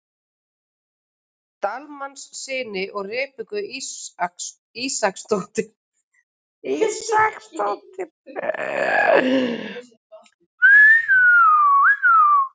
Dalmannssyni og Rebekku Ísaksdóttur.